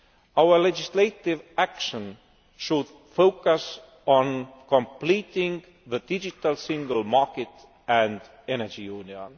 Our legislative action should focus on completing the digital single market and energy union.